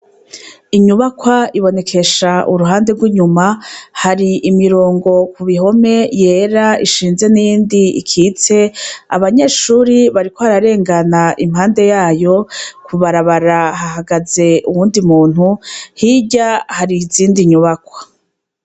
Inyubakwa ibonekesha uruhande rw'inyuma, hari imirongo ku bihome yera ishinze n'iyindi ikitse, abanyeshure bariko bararengana impande yayo, ku barabarahara hagaze uwundi muntu, hirya hari izindi nyubakwa.